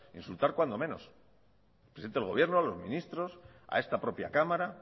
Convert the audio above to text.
insultar cuando menos al presidente de gobierno a los ministros a esta propia cámara